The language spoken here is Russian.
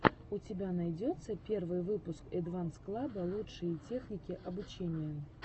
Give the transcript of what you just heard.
у тебя найдется первый выпуск эдванс клаба лучшие техники обучения